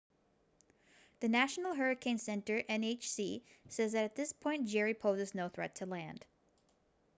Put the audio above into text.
the national hurricane center nhc says that at this point jerry poses no threat to land